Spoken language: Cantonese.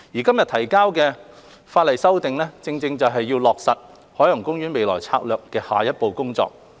今天提交的法例修訂正是要落實海洋公園未來策略的下一步工作。